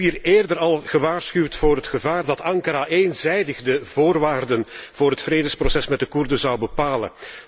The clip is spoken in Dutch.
Ik heb hier eerder al gewaarschuwd voor het gevaar dat Ankara eenzijdig de voorwaarden voor het vredesproces met de Koerden zou bepalen.